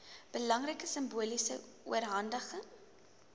belangrike simboliese oorhandiging